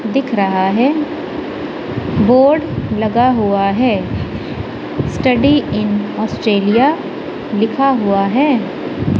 दिख रहा है बोर्ड लगा हुआ है स्टडी इन ऑस्ट्रेलिया लिखा हुआ है।